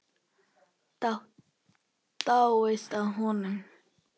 Dáist að honum.